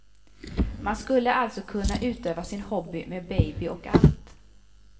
Man skulle alltså kunna utöva sin hobby med baby och allt.